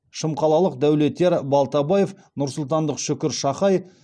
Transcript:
шымқалалық дәулетияр балтабаев нұрсұлтандық шүкір шахай